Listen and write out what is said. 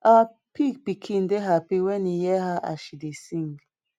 our pig pikin dey happy wen e hear her as she dey sing